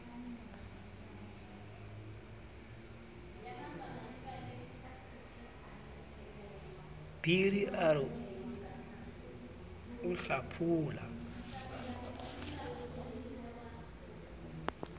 biri a re o hlaphola